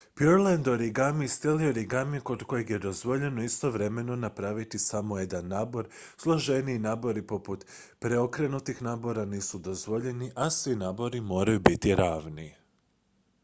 pureland origami stil je origamija kod kojeg je dozvoljeno istovremeno napraviti samo jedan nabor složeniji nabori poput preokrenutih nabora nisu dozvoljeni a svi nabori moraju biti ravni